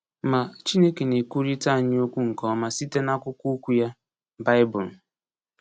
Ma, Chineke na-ekwurịta anyị okwu nke ọma site n’akwụkwọ Okwu ya, Baịbụl.